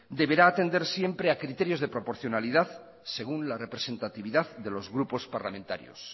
deberá atender siempre a criterios de proporcionalidad según la representatividad de los grupos parlamentarios